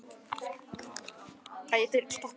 En umfram allt er hún gleðigjafi í svellandi trega sínum.